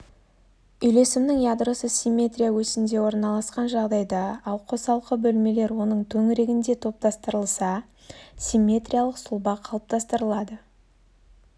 үйлесімнің ядросы симметрия осінде орналасқан жағдайда ал қосалқы бөлмелер оның төңірегінде топтастырылса симметриялық сұлба қалыптастырылады